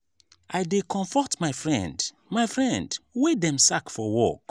i dey comfort my friend my friend wey dem sack for work.